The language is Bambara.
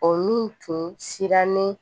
O min tun sirannen